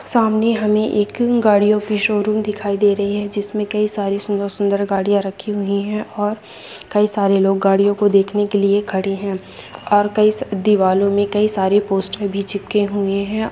सामने हमें एक गाड़ियों की शोरूम दिखाई दे रही है जिसमे कई सारी सुन्दर सुन्दर गाड़ियों रखी हुई है और कई सारे लोग गाड़ियों को देखने के लिए खड़े है और कई दिवलो में कई सारे पोस्टर भी चिपके हुए है।